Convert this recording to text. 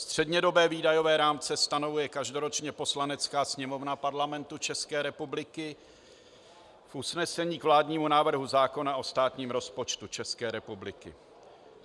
Střednědobé výdajové rámce stanovuje každoročně Poslanecká sněmovna Parlamentu České republiky v usnesení k vládnímu návrhu zákona o státním rozpočtu České republiky.